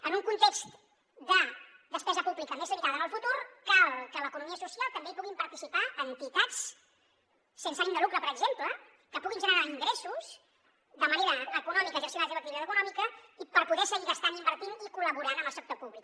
en un context de despesa pública més limitada en el futur cal que a l’economia social també hi puguin participar entitats sense ànim de lucre per exemple que puguin generar ingressos de manera econòmica exercint la seva activitat econòmica per poder seguir gastant invertint i col·laborant amb el sector públic